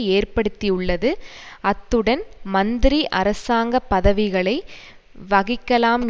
ஏற்படுத்தியுள்ளது அத்துடன் மந்திரி அரசாங்க பதவிகளை வகிக்கலாம்